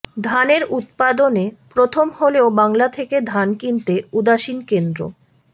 ধানের উৎপাদনে প্রথম হলেও বাংলা থেকে ধান কিনতে উদাসীন কেন্দ্র